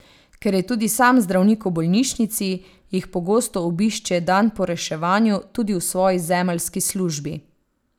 Ker je tudi sam zdravnik v bolnišnici, jih pogosto obišče dan po reševanju tudi v svoji zemljski službi.